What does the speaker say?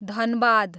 Dhanbad